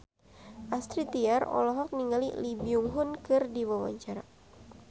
Astrid Tiar olohok ningali Lee Byung Hun keur diwawancara